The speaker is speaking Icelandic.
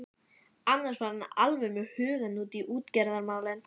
Annars var hann alveg með hugann við útgerðarmálin.